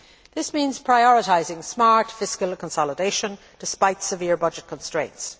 This means prioritising smart fiscal consolidation, despite severe budget constraints.